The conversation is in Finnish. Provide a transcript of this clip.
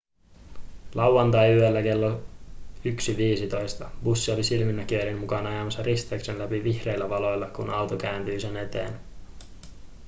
lauantaiyöllä kello 1.15 bussi oli silminnäkijöiden mukaan ajamassa risteyksen läpi vihreillä valoilla kun auto kääntyi sen eteen